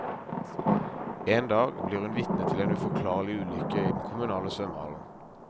En dag blir hun vitne til en uforklarlig ulykke i den kommunale svømmehallen.